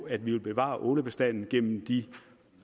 at vi vil bevare ålebestanden gennem de